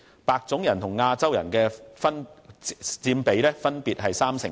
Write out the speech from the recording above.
白種人和亞洲人分別佔區內人口的三成多。